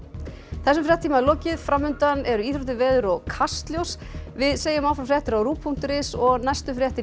þessum fréttatíma er lokið fram undan eru íþróttir veður og Kastljós við segjum áfram fréttir á punktur is og næstu fréttir í